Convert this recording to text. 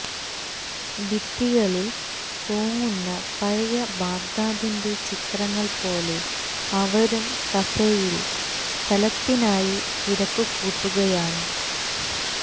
ഭിത്തികളില് തൂങ്ങുന്ന പഴയ ബഗ്ദാദിന്റെ ചിത്രങ്ങള് പോലെ അവരും കഫേയില് സ്ഥലത്തിനായി തിരക്കുകൂട്ടുകയാണ്